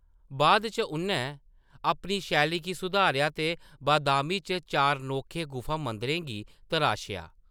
बाद इच उʼनैं अपनी शैली गी सुआरेआ ते बादामि च चार नोखे गुफा मंदिरें गी तराशेआ।